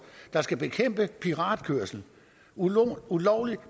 der skal bekæmpe piratkørsel ulovlig ulovlig